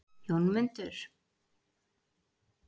Jómundur, hvernig verður veðrið á morgun?